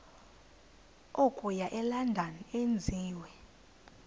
okuya elondon enziwe